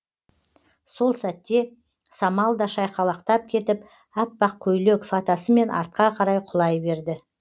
сол сәтте самал да шайқалақтап кетіп аппақ көйлек фатасымен артқа қарай құлай берді